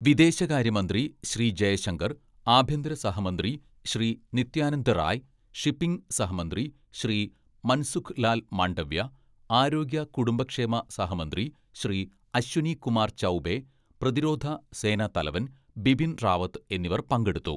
"വിദേശകാര്യ മന്ത്രി ശ്രീ ജയശങ്കര്‍, ആഭ്യന്തര സഹമന്ത്രി ശ്രീ നിത്യാനന്ദ റായ്, ഷിപ്പിങ് സഹമന്ത്രി ശ്രീ മന്‍സുഖ് ലാല്‍ മാണ്ഡവ്യ, ആരോഗ്യ കുടുംബക്ഷേമ സഹമന്ത്രി ശ്രീ അശ്വിനി കുമാര്‍ ചൗബേ, പ്രതിരോധ സേനാ തലവന്‍ ബിപിന്‍ റാവത്ത് എന്നിവര്‍ പങ്കെടുത്തു. "